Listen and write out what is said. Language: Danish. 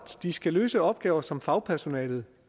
de skal løse opgaver som fagpersonalet